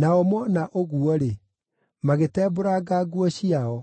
Nao moona ũguo-rĩ, magĩtembũranga nguo ciao.